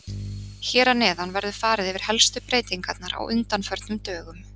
Hér að neðan verður farið yfir helstu breytingarnar á undanförnum dögum